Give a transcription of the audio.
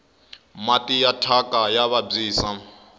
mati ya thyaka ya vabyisa